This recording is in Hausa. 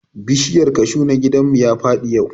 Bishiyar kashu na gidan mu ya faɗi yau